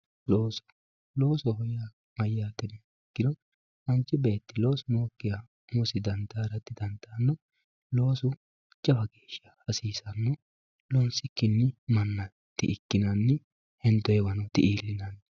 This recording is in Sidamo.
looso loosoho yaa mayyate yiniha ikkiro manchi beetti loosu nookkiha umosi dandaara didandaanno loosu jawa geeshsha hasiisanno loonsikkinni manna di ikkinanni hendoonniwano di iillinanni.